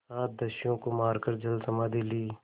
सात दस्युओं को मारकर जलसमाधि ली